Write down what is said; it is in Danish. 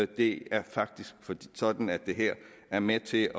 det er faktisk sådan at det her er med til